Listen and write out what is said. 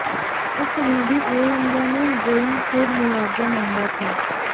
उस समय भी एयर इंडिया ने बोइंग से मुआवजा मांगा था